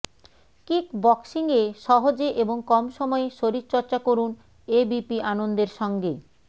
kick বক্সিংয়ে সহজে এবং কম সময়ে শরীরচর্চা করুন এবিপি আনন্দের সঙ্গে